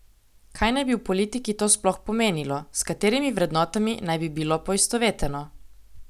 Kaj naj bi v politiki to sploh pomenilo, s katerimi vrednotami naj bi bilo poistoveteno?